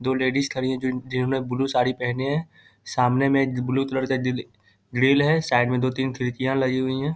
दो लेडीज खड़ी हैं जो जिन्होंने ब्लू साड़ी पहने है सामने में एक ब्लू कलर का गि ग्रिल है साइड में दो तीन खिड़कियाँ लगी हुई हैं।